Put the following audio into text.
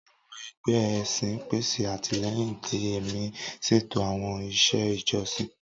Awọn ẹgbẹ ẹsin pese atilẹyin ti ẹmi, ṣeto awọn iṣẹ ijọsin.